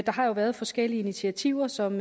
har jo været forskellige initiativer som